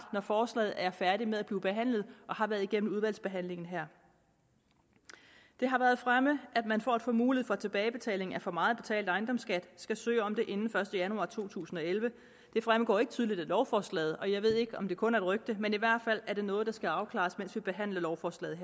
når forslaget er færdigt med at blive behandlet og har været igennem udvalgsbehandlingen her det har været fremme at man for at få mulighed for tilbagebetaling af for meget betalt ejendomsskat skal søge om det inden den første januar to tusind og elleve det fremgår ikke tydeligt af lovforslaget og jeg ved ikke om det kun er et rygte men i hvert fald er det noget der skal afklares mens vi behandler lovforslaget